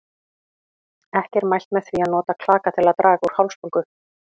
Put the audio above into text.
Ekki er mælt með því að nota klaka til að draga úr hálsbólgu.